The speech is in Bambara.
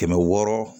Kɛmɛ wɔɔrɔ